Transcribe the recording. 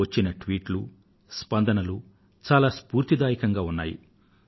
వచ్చిన ట్వీట్లు స్పందనలు చాలా స్ఫూర్తిదాయకంగా ఉన్నాయి